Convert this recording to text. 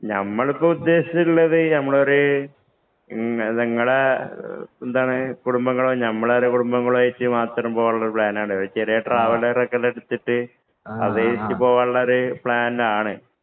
ഞമ്മള് ഇപ്പം ഉദ്ദേശിച്ചിട്ടുള്ളത് ഞമ്മളൊരു ഇങ്ങടെ എന്താണ് കുടുംബങ്ങളും, ഞമ്മടെ ഒരു കുടുംബങ്ങളും ആയിട്ട് മാത്രം പോകാനൊരു പ്ലാനാണത്. ഒരു ചെറിയ ട്രാവലറകളൊക്കെ എടുത്തിട്ടു അതിലേക്കു പോകാനുള്ള ഒരു പ്ലാനാണ്.